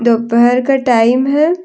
दोपहर का टाइम है।